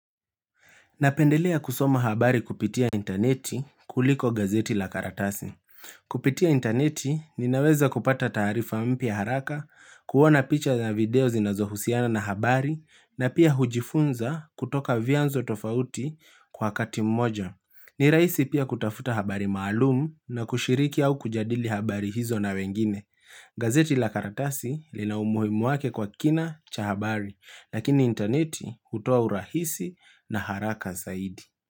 Napendelea kusoma habari kupitia intaneti kuliko gazeti la karatasi. Kupitia intaneti ninaweza kupata taarifa mpya haraka, kuona picha na video zinazohusiana na habari, na pia hujifunza kutoka vianzo tofauti kwa wakati mmoja. Ni raisi pia kutafuta habari maalumu na kushiriki au kujadili habari hizo na wengine. Gazeti la karatasi linaumuhimu wake kwa kina cha habari, lakini intaneti hutoa urahisi na haraka zaidi.